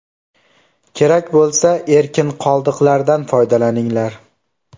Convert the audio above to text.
Kerak bo‘lsa, erkin qoldiqlardan foydalaninglar.